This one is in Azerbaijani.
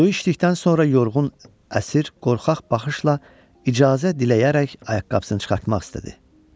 Su içdikdən sonra yorğun, əsir, qorxaq baxışla icazə diləyərək ayaqqabısını çıxartmaq istədi.